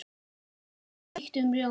Gott með þeyttum rjóma!